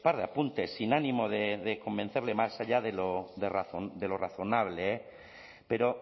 de apuntes sin ánimo de convencerle más allá de lo de razón de lo razonable eh pero